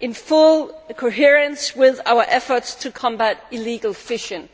in full coherence with our efforts to combat illegal fishing.